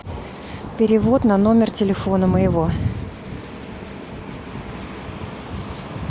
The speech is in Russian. перевод на номер телефона моего